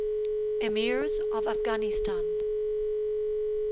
emirs of afghanistan